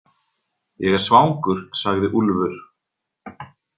Ég er svangur, sagði Úlfur.